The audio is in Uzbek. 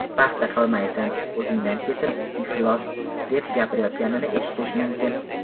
Paxta qilmaysan, o‘zingdan ketib, iflos”, deb gapirayotganini eshitish mumkin.